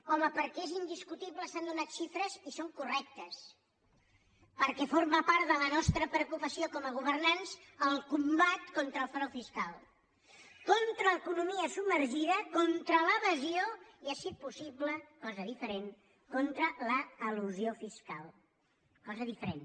home perquè és indiscutible s’han donat xifres i són correctes perquè forma part de la nostra preocupació com a governants el combat contra el frau fiscal contra l’economia submergida contra l’evasió i si és possible cosa diferent contra l’elusió fiscal cosa diferent